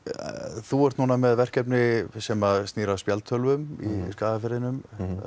þú ert núna með verkefni sem snýr að spjaldtölvum í Skagafirðinum